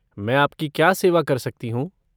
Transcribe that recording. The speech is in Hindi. मैं आप की क्या सेवा कर सकती हूँ?